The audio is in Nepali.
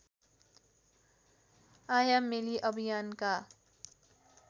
आयामेली अभियानका